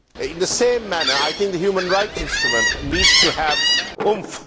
In the same manner, I think the human rights instrument needs to have oomph.